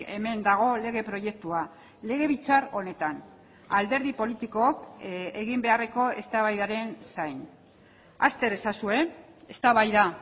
hemen dago lege proiektua legebiltzar honetan alderdi politikook egin beharreko eztabaidaren zain azter ezazue eztabaida